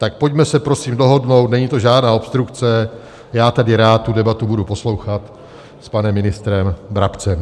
Tak pojďme se prosím dohodnout, není to žádná obstrukce, já tady rád tu debatu budu poslouchat s panem ministrem Brabcem.